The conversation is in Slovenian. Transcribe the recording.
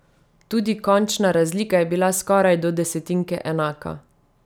Tudi končna razlika je bila skoraj do desetinke enaka.